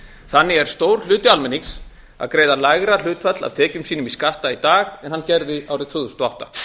þannig er stór hluti almennings að greiða lægra hlutfall af tekjum sínum skatta í dag en hann gerði árið tvö þúsund og átta